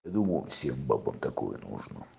я думал всем бабам такое нужно